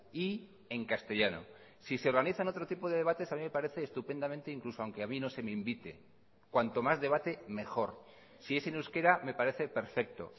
y en castellano si se organizan otro tipo de debates a mí me parece estupendamente incluso aunque a mí no se me invite cuanto más debate mejor si es en euskera me parece perfecto